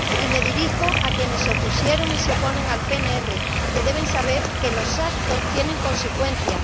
Y me dirijo a quienes se opusieron y se oponen al PNR, que deben saber que los actos tienen consecuencias.